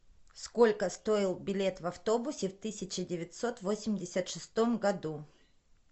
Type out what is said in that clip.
сколько стоил билет в автобусе в тысяча девятьсот восемьдесят шестом году